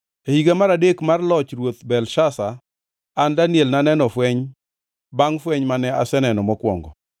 E higa mar adek mar loch mar ruoth Belshazar, an Daniel, naneno fweny, bangʼ fweny mane aseneno mokwongo.